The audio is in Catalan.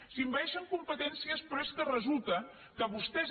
s’envaeixen competències però és que resulta que vostès